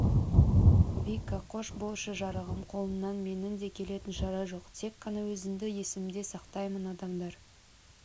вика қош болшы жарығым қолымнан менің де келетін шара жоқ тек қана өзіңді есімде сақтаймын адамдар